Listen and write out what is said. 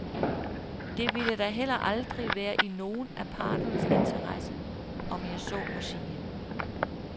Det ville da heller aldrig være i nogen af parternes interesse, om jeg så må sige.